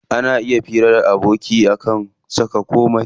Ana iya hira da aboki akan komai.